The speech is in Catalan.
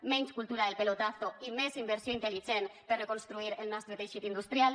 menys cultura del pelotazo i més inversió intel·ligent per a reconstruir el nostre teixit industrial